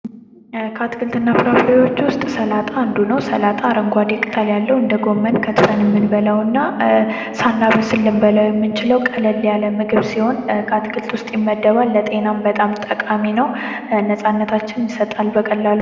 ከአትክልትና ፍራፍሬዎች ሰላጣ አንዱ ነው። ሰላጣ አረንጓዴ ቅጠል ያለው እንደ ጎመን ከትፈንም ምንበላውና ሳናበስል ልንብውላው የምንችለው ቀለል ያለ ምግብ ሲሆን ከአትክልት ውስጥ ይመደባል ለጤናም በጣም ጠቃሚ ነው። ነጻነታችንን ይሰጣል በቀላሉ...